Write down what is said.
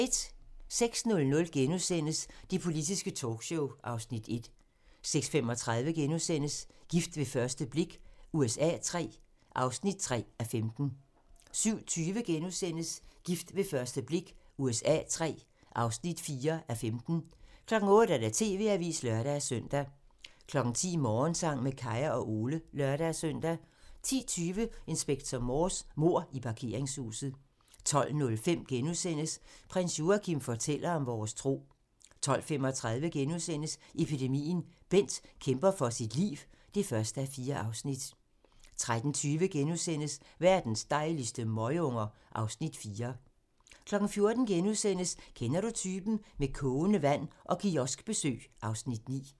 06:00: Det politiske talkshow (Afs. 1)* 06:35: Gift ved første blik USA III (3:15)* 07:20: Gift ved første blik USA III (4:15)* 08:00: TV-avisen (lør-søn) 10:00: Morgensang med Kaya og Ole (lør-søn) 10:20: Inspector Morse: Mord i parkeringshuset 12:05: Prins Joachim fortæller om vores tro * 12:35: Epidemien - Bent kæmper for sit liv (1:4)* 13:20: Verdens dejligste møgunger (Afs. 4)* 14:00: Kender du typen? - Med kogende vand og kioskbesøg (Afs. 9)*